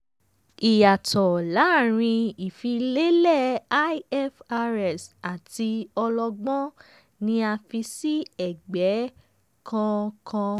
ìyàtò lárin ifi lélẹ̀ ifrs àti ọlọ́gbọ́n ní a fi sí ẹgbẹ́ kọọkan.